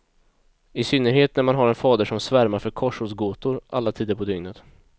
I synnerhet när man har en fader som svärmar för korsordsgåtor alla tider på dygnet.